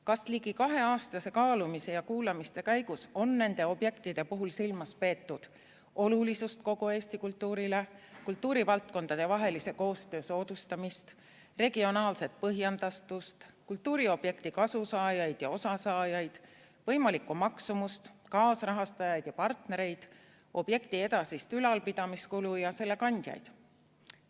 Kas ligi kaheaastase kaalumise ja kuulamiste käigus on nende objektide puhul silmas peetud olulisust kogu Eesti kultuurile, kultuurivaldkondade koostöö soodustamist, regionaalset põhjendatust, kultuuriobjektist kasusaajaid ja osasaajaid, võimalikku maksumust, kaasrahastajaid ja partnereid, objekti edasist ülalpidamiskulu ja selle kandjaid?